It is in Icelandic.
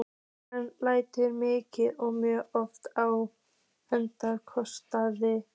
Hann hlær mikið og mjög oft á eigin kostnað.